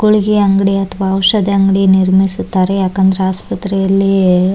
ಗುಳಿಗೆ ಅಂಗಡಿ ಅಥವಾ ಔಷದಿ ಅಂಗಡಿ ನಿರ್ಮಿಸುತ್ತಾರೆ ಯಾಕಂದ್ರೆ ಆಸ್ಪತ್ರೆಯಲ್ಲಿ --